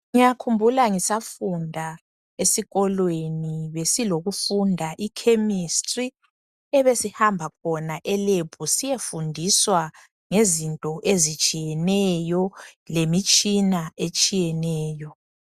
Ngiyakhumbula ngisafunda esikolweni besilokufunda I chemistry ebesihamba khona e lab siyefundiswa ngezinto ezitshiyeneyo lemitshina etshiyeneyo